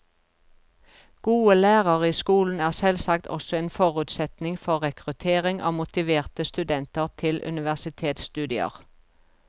Gode lærere i skolen er selvsagt også en forutsetning for rekruttering av motiverte studenter til universitetsstudier.